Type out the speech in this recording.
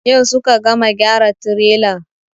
Yau suka gama gyara tirelar.